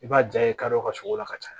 I b'a ja ye kadɔw ka sogo la ka caya